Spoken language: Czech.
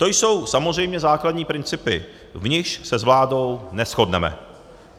To jsou samozřejmě základní principy, v nichž se s vládou neshodneme.